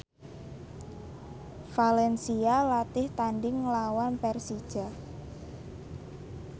valencia latih tandhing nglawan Persija